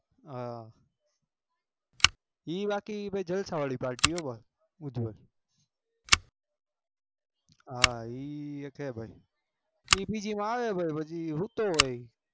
હ એ બાકી જલસા વારી palty નઈ એ એક ભાઈ